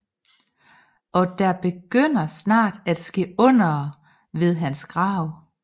Og der begyndte snart at ske undere ved hans grav